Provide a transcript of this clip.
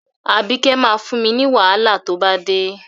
Àbíkẹ́ máa fún mi wàhálà tó bá dé.